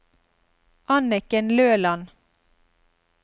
Anniken Løland